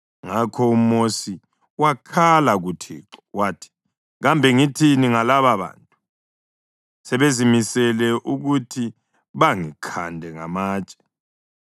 Ngakho uMosi wakhala kuThixo, wathi, “Kambe ngithini ngalababantu? Sebezimisele ukuthi bangikhande ngamatshe.”